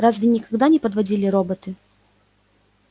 разве никогда не подводили роботы